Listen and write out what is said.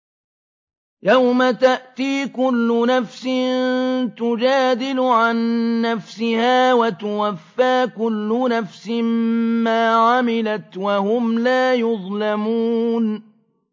۞ يَوْمَ تَأْتِي كُلُّ نَفْسٍ تُجَادِلُ عَن نَّفْسِهَا وَتُوَفَّىٰ كُلُّ نَفْسٍ مَّا عَمِلَتْ وَهُمْ لَا يُظْلَمُونَ